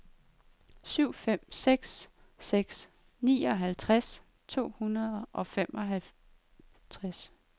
syv fem seks seks nioghalvtreds to hundrede og femoghalvtreds